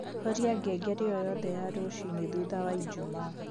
horĩa ngengere o yothe ya rucĩĩni thũtha waĩjũmaa